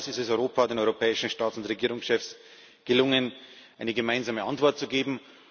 Erstmals ist es Europa den europäischen Staats und Regierungschefs gelungen, eine gemeinsame Antwort zu geben.